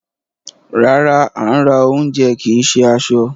Rárá, à ń ra ounjẹ kìí ṣe aṣọ.